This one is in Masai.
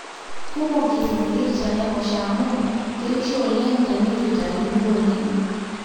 kumok isinkir tenaiposha amu keishoo oleng teneitu eitayuni oleng